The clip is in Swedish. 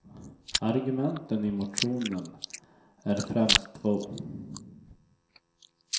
Argumenten i motionen är främst två.